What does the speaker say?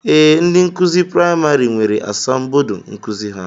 Ee, ndị nkụzi praịmarị nwere asambodo nkụzi ha